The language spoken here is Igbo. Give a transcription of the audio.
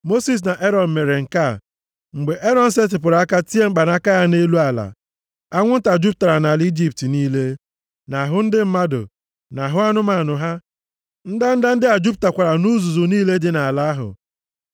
Mosis na Erọn mere nke a. Mgbe Erọn setịpụrụ aka tie mkpanaka ya nʼelu ala, anwụ nta jupụtara nʼala Ijipt niile, nʼahụ ndị mmadụ, na nʼahụ anụmanụ ha. Ndanda ndị a jupụtakwara nʼuzuzu niile dị nʼala ahụ.